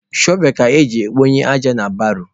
Shọvel ka eji ekponye aja na baro.